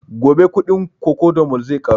Gobe kuɗin cocodamol zai ƙaru